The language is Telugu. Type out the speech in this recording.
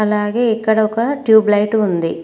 అలాగే ఇక్కడ ఒక ట్యూబ్ లైట్ ఉంది.